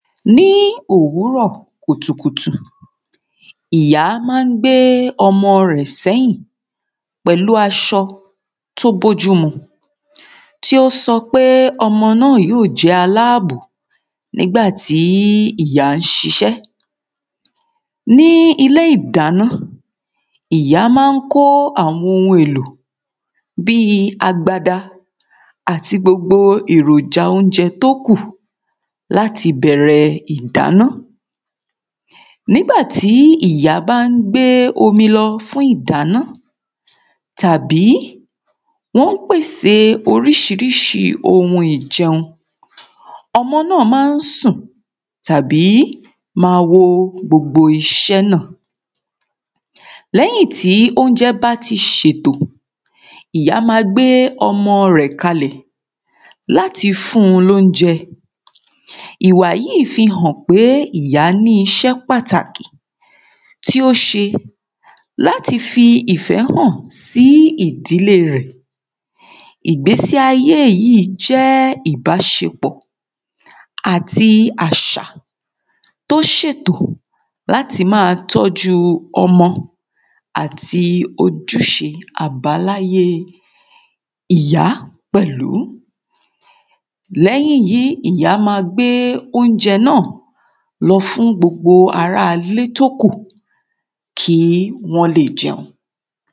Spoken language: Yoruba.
ní òwúrọ̀ kùtùkùtù ìyá má ń gbé ọmo. Rẹ̀ sẹ́yìn pẹ̀lú aṣọ tí ó bójú mu tí ó sọpé ọmọ náà yó aláàbò nígbà tí ìyá ń ṣiṣẹ́ ní ilé ìdáná ìyá má ń kó àwọn ohun èlò bíi agbada àti gbogbo èròjà oúnjẹ tókù láti bẹ̀rẹ̀ ìdáná nígbà tí ìyá bá ń gbé omi lọ fún ìdáná tàbí wọ́n pèsè oríṣiríṣi ohun ìjẹun ọmọ náà má ń sùn tàbí ma wo gbogbo iṣẹ́ náà lẹ́yìn tí oúnjẹ bá ti ṣètò ìyá ma gbé ọmọ rẹ̀ kalẹ̀ láti fún ní oúnjẹ ìwà yí fi hàn pé ìyá ní iṣẹ́ pàtàkì tí ó ṣe láti fi ìfẹ́ hàn sí ìdílé rẹ̀ ìgbésí ayé yìí jẹ́ ìbásepọ̀ àti àṣà tó ṣètò láti ma tọ́jú ọmọ àti ojúṣe àbáláyé ìyá pẹ̀lú lẹ́yìn yìí ìyá ma gbé oúnjẹ náà lọ fún gbogbo ara ilé tókù kí wọ́n lè jẹun